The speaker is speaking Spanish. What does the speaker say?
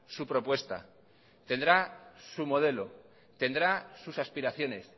su propuesta tendrá su modelo tendrá sus aspiraciones